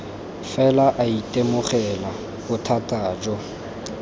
fela a itemogela bothata jo